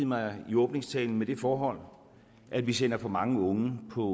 mig i åbningstalen med det forhold at vi sender for mange unge på